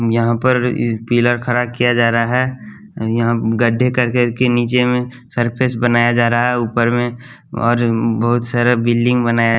यहाँ पर म इस पिलर खड़ा किया जा रहा है यहाँ गड्ढे कर कर के नीचे में सरफेस बनाया जा रहा है ऊपर में और बहुत सारा बिल्डिंग बनाया --